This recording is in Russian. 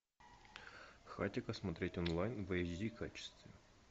хатико смотреть онлайн в эйч ди качестве